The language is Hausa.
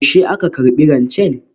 Yaushe aka karbi rancen?